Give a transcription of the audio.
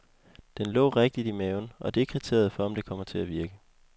Den lå rigtigt i maven, og det er kriteriet for, om det kommer til at virke.